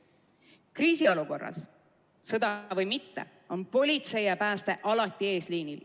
Kriisiolukorras, olgu sõda või mitte, on politsei ja pääste alati eesliinil.